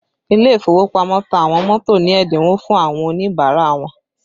Ile ìfowópamọ́ ta àwọn mọ́tò ní ẹ́dínwó fún àwọn Oníbàárà wọn